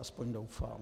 Aspoň doufám.